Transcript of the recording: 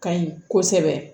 Ka ɲi kosɛbɛ